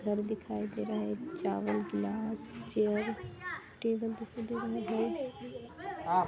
घर दिखाई दे रहा है चावल गिलास चेयर टेबल दिखाई दे रही है।